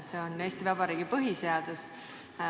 See on Eesti Vabariigi põhiseadus.